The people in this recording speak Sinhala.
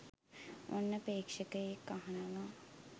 ඔන්න ‍ප්‍රේක්ෂක‍යෙක් අහනව